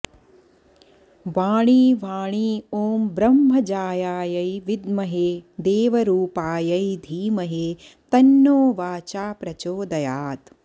वाणी वाणी ॐ ब्रह्मजायायै विद्महे देवरूपायै धीमहि तन्नो वाचा प्रचोदयात्